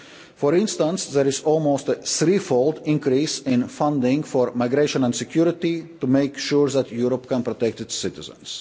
For instance, there has been almost a three fold increase in funding for migration and security to make sure that Europe can protect its